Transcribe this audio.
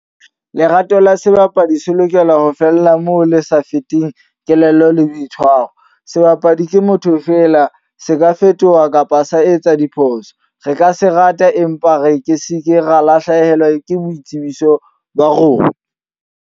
Lerato la sebapadi se lokela ho fella moo le sa feteng kelello le boitshwaro. Sebapadi ke motho feela, se ka fetoha kapa sa etsa diphoso. Re ka se rata, empa re ke se ke ra lahlehelwa ke boitsebiso ba rona.